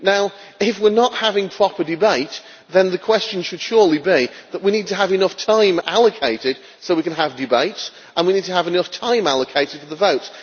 Now if we are not having a proper debate, then the question should surely be that we need to have enough time allocated so that we can have debates, and we need to have enough time allocated for the vote.